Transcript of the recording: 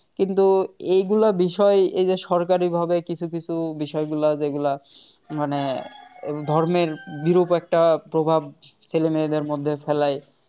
কিন্তু এগুলো বিষয় এই যে সরকারিভাবে কিছু কিছু বিষয়গুলা যেগুলা মানে ধর্মের বিরূপ একটা প্রভাব ছেলে মেয়েদের মধ্যে ফেলে